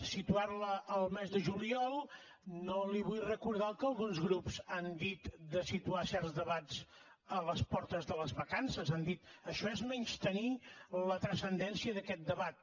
situar la al mes de juliol no li vull recordar el que alguns grups han dit de situar certs debats a les portes de les vacances han dit això és menystenir la transcendència d’aquest debat